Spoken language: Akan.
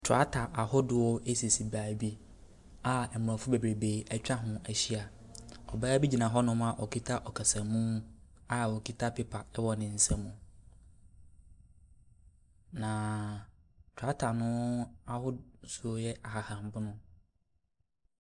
Trakta ahodoɔ esisi beebi a mbrofi bebebree etwa ho ahyia. Ɔbaa bi ɛgyina hɔ a ɔkita nkasamu a okita pepa ɛwɔ n'sam. Na trakta no ahosuo yɛ ahahammono.